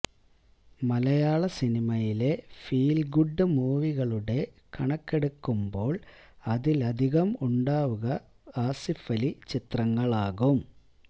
മലയാളസിനിമയിലെ feel good മൂവികളുടെ കണക്കെടുക്കുമ്പോള് അതില് അധികവും ഉണ്ടാവു ആസിഫലി ചിത്രങ്ങളാകും